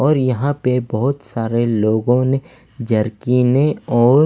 और यहां पे बहोत सारे लोगों ने जरकीने और --